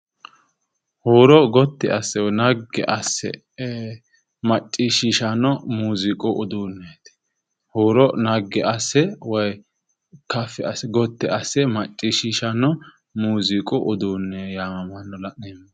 Huuro gotti asse woyi naggi asse macciishishanno muuziiqu uduunneeti. huuro naggi asse woy kaffi gotte asse macciishishanno muuziiqu uduunne yaamammanno.